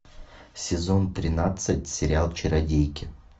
сезон тринадцать сериал чародейки